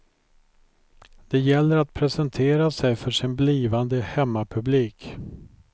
Det gäller att presentera sig för sin blivande hemmapublik.